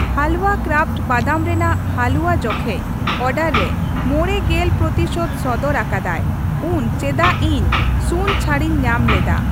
ᱦᱟᱞᱣᱟ ᱠᱨᱟᱯᱷᱴ ᱵᱟᱫᱟᱢ ᱨᱮᱱᱟᱜ ᱦᱟᱞᱩᱣᱟ ᱡᱚᱠᱷᱮᱡᱽ ᱚᱰᱟᱨ ᱨᱮ ᱢᱚᱬᱮ ᱜᱮᱞ ᱯᱨᱚᱛᱤᱥᱚᱛᱚ ᱥᱚᱫᱚᱨ ᱟᱠᱟᱫᱟᱭ ᱩᱱ ᱪᱮᱫᱟᱜ ᱤᱧ ᱥᱩᱱ ᱪᱷᱟᱹᱲᱤᱧ ᱧᱟᱢ ᱞᱮᱫᱟ ᱾